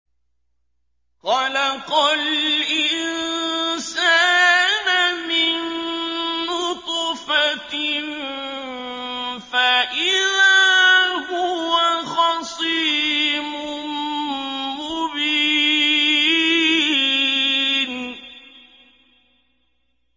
خَلَقَ الْإِنسَانَ مِن نُّطْفَةٍ فَإِذَا هُوَ خَصِيمٌ مُّبِينٌ